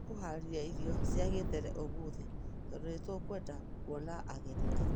Nĩ tũkuhaarĩria irio cia gitene ũmũthĩ tondũ nĩ tũkwenda kuonia ageni aitũ